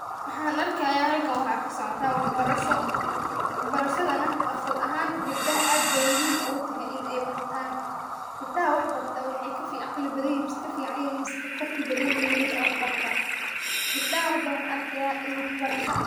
Mxan arki haya halkan wxa kasocoto wax barasha, wax barashada nah nafsiahan gabdaha ad bay muhim ogutehe inay bartan gabdaha waxbarta wxayka aqli badanyihin, kaficanyihin, mise kalart badanyihin wilasha wax barta, gabdaha hada wxan arkahaya inwax barasha.